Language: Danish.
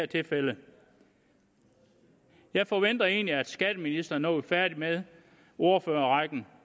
tilfælde jeg forventer egentlig at skatteministeren når vi er færdige med ordførerrækken